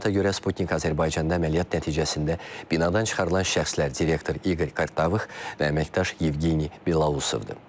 Məlumata görə, Sputnik Azərbaycanda əməliyyat nəticəsində binadan çıxarılan şəxslər direktor İqor Kartavıx və əməkdaş Yevgeniy Belausovdur.